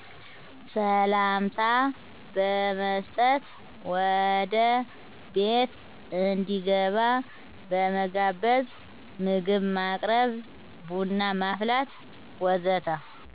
ሰላምታ በመስጠት ወደ ቤት እንዲገባ በመጋበዝ ምግብ ማቅረብ ቡና ማፍላት ወዘተ